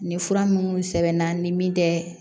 Nin fura minnu sɛbɛnna ni min tɛ